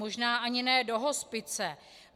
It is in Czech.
Možná ani ne do hospice.